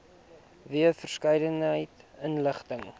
wye verskeidenheid inligting